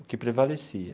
O que prevalecia.